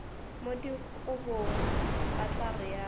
mo dikobong ba tla realo